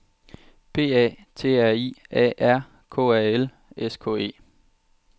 P A T R I A R K A L S K E